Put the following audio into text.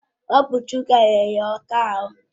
Ọ bụ chòkà nyere ya ọkụ ahụ